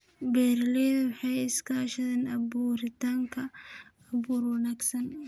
Beeraleydu waxay iska kaashadaan abuuritaanka abuur wanaagsan.